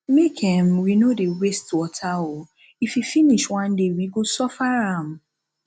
make um we no dey waste water oo if e finish one day we go suffer am